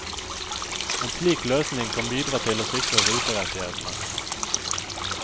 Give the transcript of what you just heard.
En slik løsning kan bidra til å sikre ruterettighetene.